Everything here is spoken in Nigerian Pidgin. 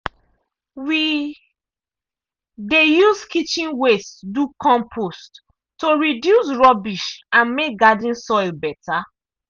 we dey use kitchen waste do compost to reduce rubbish and make garden soil better.